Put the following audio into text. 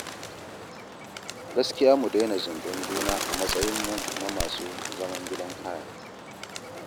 Gaskiya mu daina zunɗen juna a matsayinmu na masu zaman gidan haya